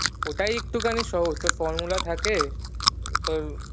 ওটাই একটুখানি সহজ তোর formula থাকে তোর